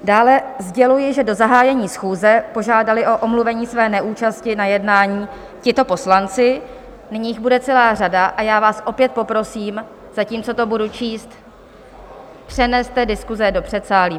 Dále sděluji, že do zahájení schůze požádali o omluvení své neúčasti na jednání tito poslanci - nyní jich bude celá řada a já vás opět poprosím, zatímco to budu číst, přeneste diskuse do předsálí.